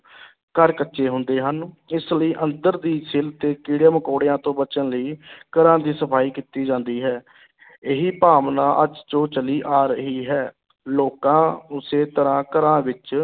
ਘਰ ਕੱਚੇ ਹੁੰਦੇ ਸਨ, ਇਸ ਲਈ ਅੰਦਰ ਦੀ ਸਿਲ੍ਹ ਤੇ ਕੀੜੇ-ਮਕੌੜਿਆਂ ਤੋਂ ਬਚਣ ਲਈ ਘਰਾਂ ਦੀ ਸਫ਼ਾਈ ਕੀਤੀ ਜਾਂਦੀ ਹੈ ਇਹੀ ਭਾਵਨਾ ਅੱਜ ਜੋ ਚੱਲੀ ਆ ਰਹੀ ਹੈ, ਲੋਕਾਂ ਉਸੇ ਤਰ੍ਹਾਂ ਘਰਾਂ ਵਿੱਚ